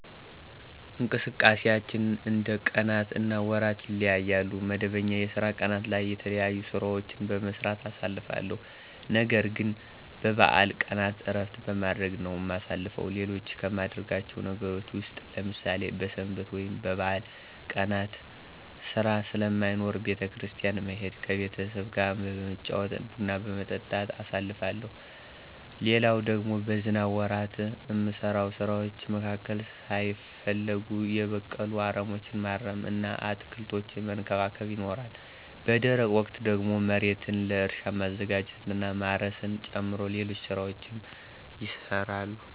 እንቅስቃሴያችን እንደ ቀናት እና ወራት ይለያያል። መደበኛ የስራ ቀናት ላይ የተለያዩ ሥራዎችን በመስራት አሳልፋለሁ። ነገርግን በበዓል ቀናት እረፍት በማድረግ ነው እማሳልፈው። ሌሎች ከማደርጋቸው ነገሮች ውስጥ ለምሳሌ በሰንበት ወይም በበዓል ቀናት ሥራ ስለማይኖር ቤተ- ክርስቲያን መሄድ፤ ከቤተሰብጋ በመጫወት እና ቡና በመጠጣት አሳልፋለሁ። ሌላው ደግሞ በዝናብ ወራት እሚሰሩ ስራዎች መካከል ሳይፈለጉ የበቀሉ አረሞችን ማረም እና አትክልቶችን መንከባከብ ይኖራል። በደረቅ ወቅት ደግሞ መሬትን ለእርሻ ማዘጋጀት እና ማረስን ጨምሮ ሌሎች ሥራዎችም ይሰራሉ።